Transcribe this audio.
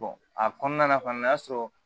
a kɔnɔna fana o y'a sɔrɔ